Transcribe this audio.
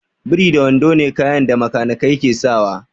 Biri da wando ne kayan da bakanikai ke sawa